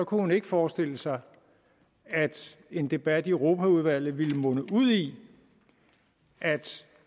kunne forestille sig at en debat i europaudvalget ville munde ud i at